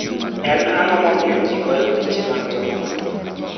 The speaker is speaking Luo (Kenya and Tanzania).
En ang'o mamiyo ji goyo piche mag jomotho?